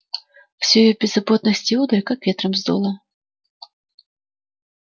всю её беззаботность и удаль как ветром сдуло